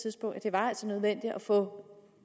var nødvendigt at få